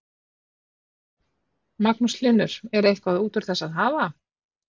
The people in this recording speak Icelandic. Magnús Hlynur: Er eitthvað út úr þessu að hafa?